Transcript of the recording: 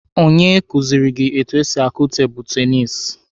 Onye kuziri gị etu esi akụ tebụlụ tenisi?